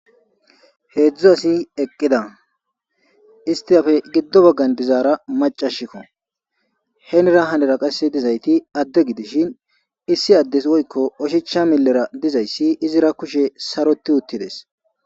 heedzdzu asi eqqida istiyafe giddo baggan dizaara macashikko henira hanera qasse dizayti adde gidishin issi addes woykko oshicha millera dizayssi izira kushe saroti uttides